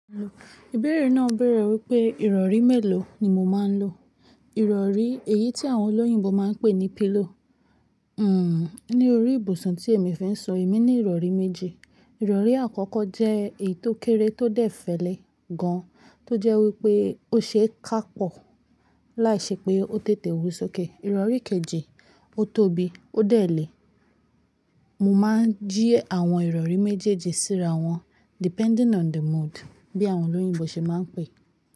Ibẹ̀rẹ̀ náà bẹ̀rẹ̀ wípé ìrọ̀rí mélòó ni mo máa ń lo. Ìrọ̀rí èyí tí àwọn olóyìnbo máa ń pè ní pillow. Hmm, ní orí ibùsùn tí èmi fin sún, èmi ní ìrọ̀rí méje. Ìrọ̀rí àkọ́kọ́ jẹ́ èyí tó kéré tó dẹ̀ fẹ́lẹ́ gan-an, tó jẹ́ wípé ó ṣe é ká pọ̀ láìṣẹ́ pé ó tètè wúso kẹ. Ìrọ̀rí kejì, ó tóbi, ó dẹ̀ lẹẹ. Mo máa ń jí àwọn ìrọ̀rí méjèèjì síra wọn depending on the mood bí àwọn olóyìnbo ṣe máa ń pè é.